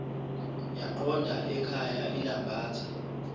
yaqonda ekhaya ilambatha